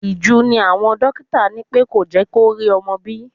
Ìju ni àwọn dókítà ní pẹ́ kò jẹ́ kó rí ọmọ bí.